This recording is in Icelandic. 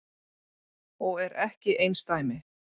Og er ekki einsdæmi.